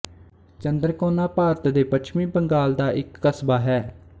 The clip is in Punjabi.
ਚੰਦਰਕੋਨਾ ਭਾਰਤ ਦੇ ਪੱਛਮੀ ਬੰਗਾਲ ਦਾ ਇੱਕ ਕਸਬਾ ਹੈ